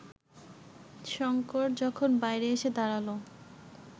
শঙ্কর যখন বাইরে এসে দাঁড়াল